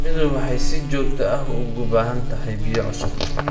Shinnidu waxay si joogto ah ugu baahan tahay biyo cusub.